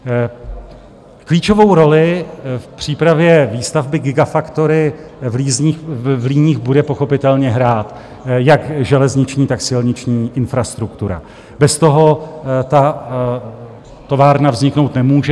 Klíčovou roli v přípravě výstavby gigafactory v Líních bude pochopitelně hrát jak železniční, tak silniční infrastruktura, bez toho ta továrna vzniknout nemůže.